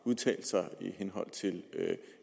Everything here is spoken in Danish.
udtalt sig i henhold til